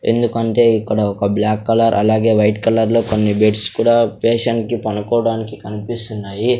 ఎందుకంటే ఇక్కడ ఒక బ్లాక్ కలర్ అలాగే వైట్ కలర్లో కొన్ని బెడ్స్ కూడా పేషంట్ కి పనుకోవడానికి కన్పిస్తున్నాయి.